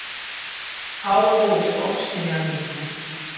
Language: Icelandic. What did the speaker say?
Þá hófust ofskynjanirnar.